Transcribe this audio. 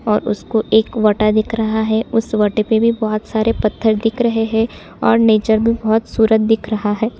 और उसको एक वोटा दिख रहा है उस वाटे पे भी भोत सारे पत्थर दिख रहे है और नेचर भी बहुत सूरत दिख रहा है ।